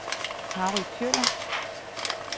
Harry Kjøller